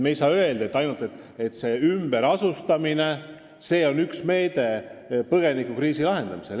Me ei saa öelda, et ainult ümberasustamine peab põgenikekriisi lahendama.